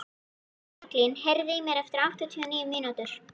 Franklín, heyrðu í mér eftir áttatíu og níu mínútur.